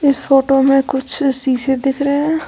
इस फोटो में कुछ शीशे दिख रहे--